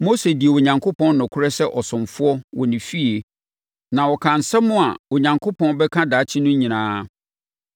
Mose dii Onyankopɔn nokorɛ sɛ ɔsomfoɔ wɔ ne fie na ɔkaa nsɛm a Onyankopɔn bɛka daakye no nyinaa.